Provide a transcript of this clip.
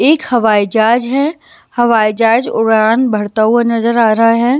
एक हवाई जहाज है हवाई जहाज उड़ान बढ़ता हुआ नजर आ रहा है।